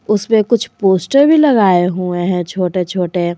उस पे कुछ पोस्ट भी लगाए हुए हैं छोटे छोटे।